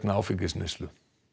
áfengisneyslu